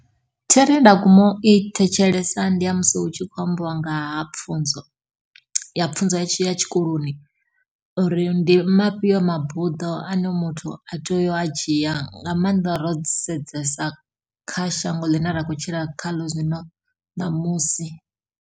Thero ye nda guma u i thetshelesa ndi ya musi hu tshi khou ambiwa nga ha pfunzo, ya pfunzo ya tshikoloni. Uri ndi mafhio mabuḓo ane muthu a tea u a dzhia, nga maanḓa ro sedzesa kha shango ḽine ra khou tshila khaḽo zwino ṋamusi.